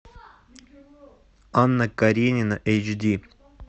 анна каренина эйч ди